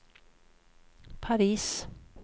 Paris